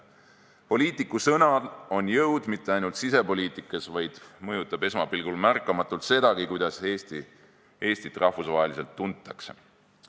Poliitiku sõnal on jõud mitte ainult sisepoliitikas, vaid see mõjutab esmapilgul märkamatult sedagi, kuidas Eestit rahvusvaheliselt tuntakse.